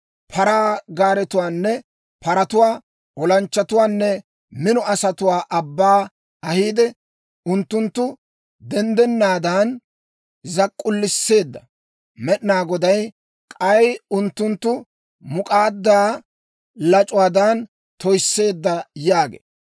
paraa gaaretuwaanne paratuwaa, olanchchatuwaanne mino asatuwaa abbaw ahiide, unttunttu denddennaadan zak'k'ulsseedda Med'inaa Goday, k'ay unttunttu muk'aaddaa lac'uwaadan toysseedda yaagee